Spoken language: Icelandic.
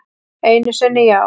Einu sinni já.